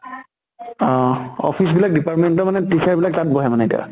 অহ office বিলাক department ৰ মানে teacher বিলাক তাত বহে মানে এতিয়া?